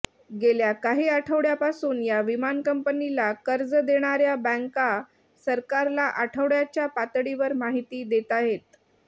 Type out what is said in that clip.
गेल्या काही आठवड्यापासून या विमान कंपनीला कर्ज देणाऱ्या बॅंका सरकारला आठवड्याच्या पातळीवर माहिती देताहेत